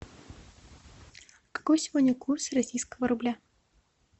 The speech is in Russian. какой сегодня курс российского рубля